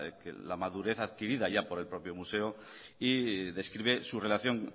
la madurez adquirida ya por el propio museo y describe su relación